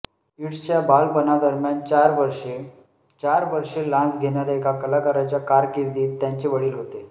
इट्सच्या बालपणादरम्यान चार वर्षे चार वर्षे लान्स घेणाऱ्या एका कलाकाराच्या कारकीर्दीत त्यांचे वडील होते